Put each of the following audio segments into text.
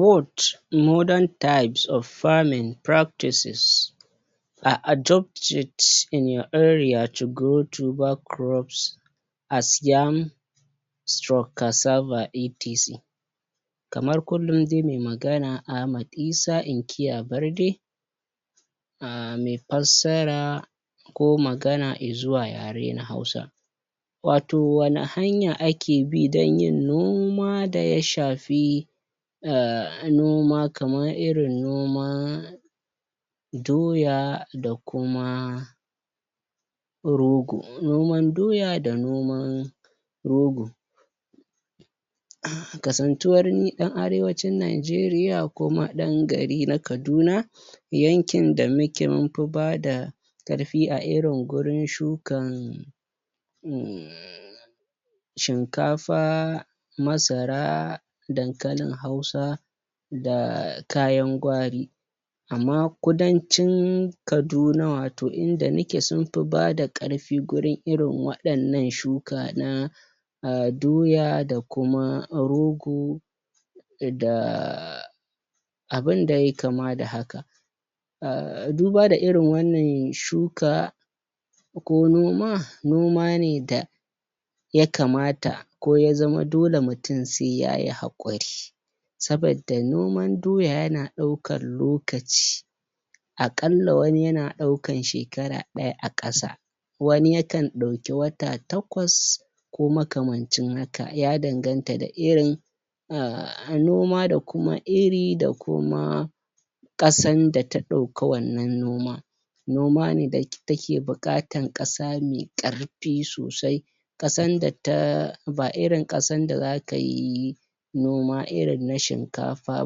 Word modern types of farming practices i idopt it in your area to grow Toba groups as yam /kasava etc kamar kullum dai me magana Ahmad Isah inkiya barde um me fassara ko magana izuwa yare na hausa wato wani haya a kebi dan yin noma da ya shafi a noma kaman irin noma doya da kuma rogo noman doya da noman rogo um kasan tuwar ni ɗan arewacin Naijeriya kuma ɗan gari na kaduna yankin da muke munfi bada ƙarfi a irin gurun shukan um shinkafa masara dankalin hausa da kayan gwari amma kudancin kaduna wato inda nike sufi bada ƙarfi gurun irin wa waɗannan shuka na um doya da kuma rogo da abin da yayi kama da haka um duba da irin wannan shuka ko noma nomane da yakamata ko yazama dole mutun se yayi haƙuri sabadda noman doya yana ɗaukan lokaci akalla wani yana ɗaukan shekara ɗaya aƙasa wani yakan ɗauki wata takwas ko makamancin haka yadanganta da irin um noma dakuma iri da kuma ƙasan da ta ɗauka wannan noman noman ne da take buƙatan ƙasa me karfi sosai ƙasan da ta ba irin ƙasan da zakayi noma irin na shin kafa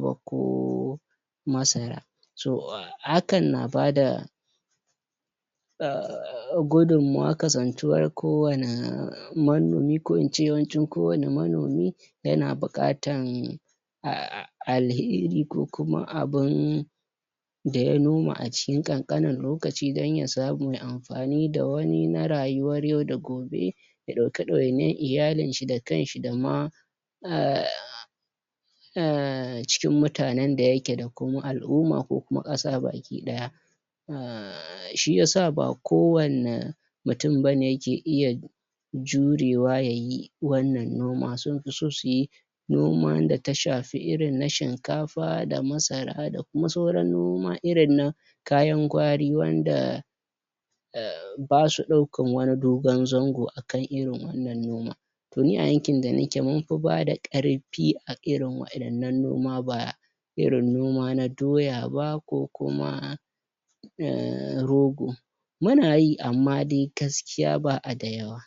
ba ko masara so hakan na bada um gudun mawa kasan tuwar kowana manomi ko ince yawancin ko wani manomi yana buƙatan um alheri ko kuma abun da ya noma acikin ƙanƙanin lokaci dan yasamu ya fani da wani na rayuwar yau da gobe ya ɗauka ɗawainiyar iyalin shi da kanshi dama um cikin mutanan da yakeda kuma al umma ko kuma ƙasa baki ɗaya a shiyasa ba ko wanna mutun bane yake iya jurewa yayi wannan noma sun fi so suyi noman da shafi irin na shinkafa ba da masara da kuma saura noma irin na kayan gwari wanda basu ɗaukan wani dogon zango akan irin wannan noman to ni a yankin da nake munfi bada ƙarfi fi a irin waɗannan noma ba irin noma na doyaba ko kuma ah rogo munayi amma dai gaskiya ba a da yawa